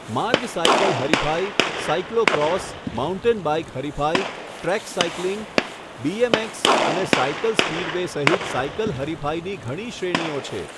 માર્ગ સાઇકલ હરિફાઇ, cyclo cross, mountain bike હરિફાઇ, ટ્રેક સાઇકલિંગ, બી.એમ.એક્સ. અને સાઇકલ સ્પિડવે સહિત સાઇકલ હરિફાઇની ઘણી શ્રેણીઓ છે.